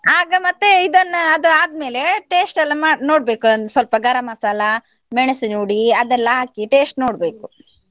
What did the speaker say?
ಆಗ ಮತ್ತೆ ಇದನ್ನು ಅದು ಆದ್ಮೇಲೆ taste ಎಲ್ಲ ನೋಡ್ಬೇಕು, ಒಂದ್ ಸ್ವಲ್ಪ ಗರಂ ಮಸಾಲ, ಮೆನ್ಸಿನ ಹುಡಿ ಅದೆಲ್ಲ ಹಾಕಿ ಸ್ವಲ್ಪ taste ನೋಡ್ಬೇಕು.